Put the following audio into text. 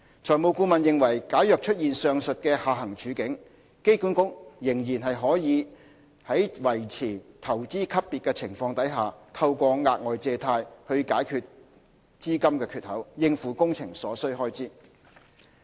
財務顧問認為假如出現上述的下行處境，機管局仍然可以在維持投資級別的情況下，透過額外借貸去解決資金缺口，應付工程所需開支。